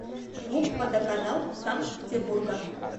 гуп водоканал санкт петербурга